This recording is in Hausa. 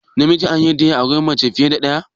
Namiji an yarda ya auri fiye da mace ɗaya kuwa?